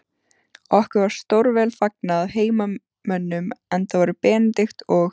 Okkur var stórvel fagnað af heimamönnum, enda voru Benedikt og